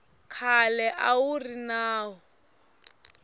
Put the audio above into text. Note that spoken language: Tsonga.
khale a wu ri nawu